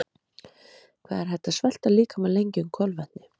hvað er hægt að svelta líkamann lengi um kolvetni